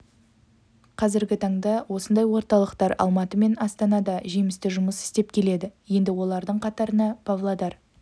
қазіргі таңда осындай орталықтар алматы мен астанада жемісті жұмыс істеп келеді енді олардың қатарына павлодар